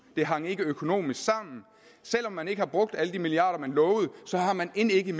det hang ikke økonomisk sammen selv om man ikke har brugt alle de milliarder kroner man lovede har man end ikke